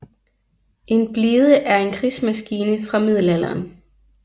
En blide er en krigsmaskine fra middelalderen